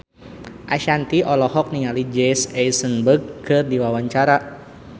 Ashanti olohok ningali Jesse Eisenberg keur diwawancara